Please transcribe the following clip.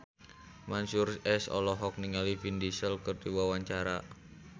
Mansyur S olohok ningali Vin Diesel keur diwawancara